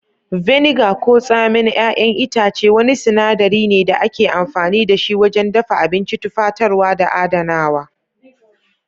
Vinegar ko tsamin 'y'yan itace wani sinadari ne da ake amfani da shi wajen dafa abinci, tufatarwa, da adanawa.